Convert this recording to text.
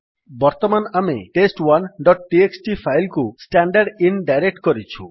ବର୍ତ୍ତମାନ ଆମେ test1ଡଟ୍txt ଫାଇଲ୍ କୁ ଷ୍ଟାଣ୍ଡରଦିନ ଡାଇରେକ୍ଟ୍ କରିଛୁ